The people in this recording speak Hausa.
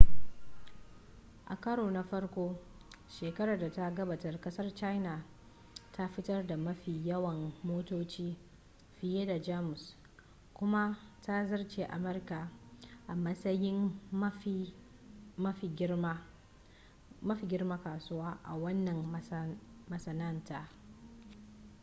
a karo na farko shekarar da ta gabata kasar china ta fitar da mafi yawan motoci fiye da jamus kuma ta zarce america a matsayin mafi girman kasuwa a wanan masana'anta